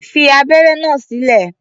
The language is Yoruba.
Fi abẹ́ré náà sílẹ̀!